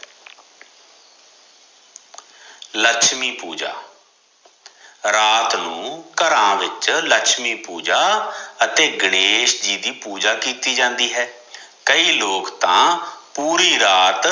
ਲਛਮੀ ਪੂਜਾ, ਰਾਤ ਨੂੰ ਘਰਾਂ ਵਿਚ ਲਛਮੀ ਪੂਜਾ ਅਤੇ ਗਣੇਸ਼ ਦੀ ਵੀ ਪੂਜਾ ਕੀਤੀ ਜਾਦੀ ਹੈ, ਕਈ ਲੋਕ ਤਾਂ ਪੂਰੀ ਰਾਤ